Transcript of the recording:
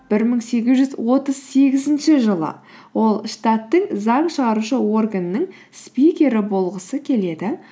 бір мың сегіз жүз отыз сегізінші жылы ол штаттың заң шығарушы органының спикері болғысы келеді